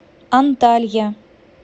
анталья